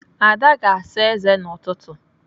Ada ga-asa ézé n'ụtụtụ.